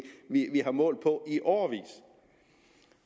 vi har målt på i årevis